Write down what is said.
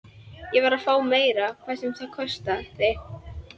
Ég varð að fá meira, hvað sem það kostaði.